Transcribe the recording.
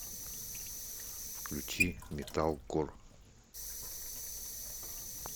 включи металкор